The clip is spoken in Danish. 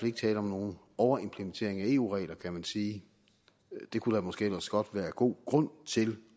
ikke tale om nogen overimplementering af eu regler kan man sige det kunne der måske ellers godt være god grund til